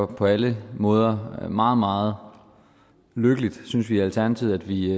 på alle måder meget meget lykkeligt synes vi i alternativet at vi